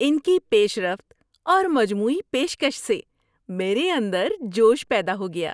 ان کی پیش رفت اور مجموعی پیشکش سے میرے اندر جوش پیدا ہو گیا۔